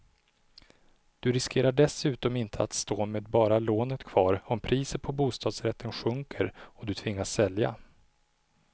Du riskerar dessutom inte att stå med bara lånet kvar om priset på bostadsrätter sjunker och du tvingas sälja.